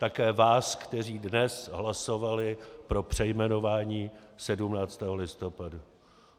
Také vás, kteří dnes hlasovali pro přejmenování 17. listopadu.